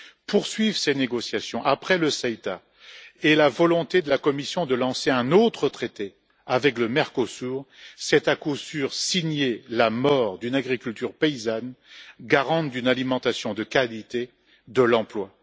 Poursuivre ces négociations après le CETA et donner suite à la volonté de la Commission de lancer un autre traité, avec le Mercosur, c'est à coup sûr signer la mort d'une agriculture paysanne, garante d'une alimentation de qualité et d'emplois.